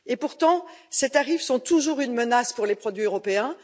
Pourtant, ces tarifs sont toujours une menace pour les produits européens.